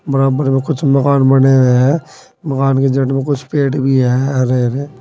बराबर में कुछ मकान बने हुए है मकान के जड़ में कुछ पेड़ भी हैं हरे हरे।